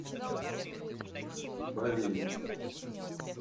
балея